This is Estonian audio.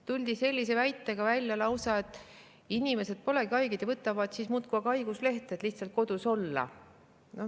Tuldi välja lausa sellise väitega, et inimesed polegi haiged, võtavad muudkui aga haiguslehte, et lihtsalt kodus olla.